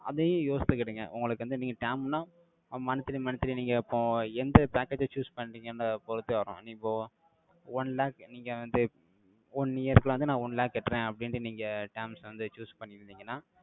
அதையும் யோசிச்சுக்கிடுங்க. உங்களுக்கு வந்து, நீங்க term னா, monthly monthly நீங்க இப்போ, எந்த package அ choose பண்றீங்கன்னு, பொறுத்தே வர்றோம். நீ போ. One lakh, நீங்க வந்து, one years ல வந்து, நான் one lakh கட்டுறேன், அப்படின்னுட்டு, நீங்க terms அ வந்து, choose பண்ணிருந்தீங்கன்னா,